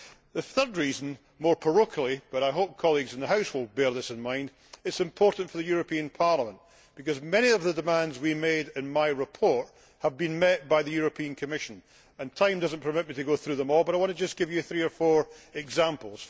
The third reason more parochially, but I hope colleagues in the House will bear this in mind is that it is important for Parliament because many of the demands we made in my report have been met by the Commission, and time does not permit me to go through them all but I want to just give you three or four examples.